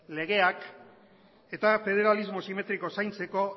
legeak eta federalismo simetrikoa zaintzeko